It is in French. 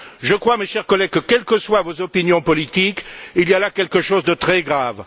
Je crois, mes chers collègues, que quelles que soient vos opinions politiques, il y a là quelque chose de très grave.